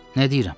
Nə deyirəm?